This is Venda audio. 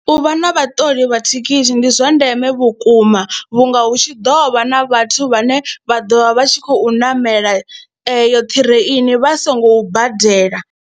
U vha na vhaṱoli vha thekhisi ndi zwa ndeme vhukuma vhunga hu tshi ḓo vha na vhathu vhane vha ḓo vha vha tshi khou namela eyo ṱireini vha songo badela.